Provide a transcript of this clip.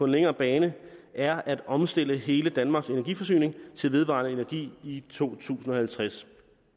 længere bane er at omstille hele danmarks energiforsyning til vedvarende energi i to tusind og halvtreds